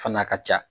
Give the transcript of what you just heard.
Fana ka ca